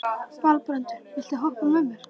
Valbrandur, viltu hoppa með mér?